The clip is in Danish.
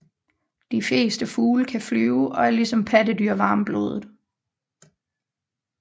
De fleste fugle kan flyve og er ligesom pattedyr varmblodede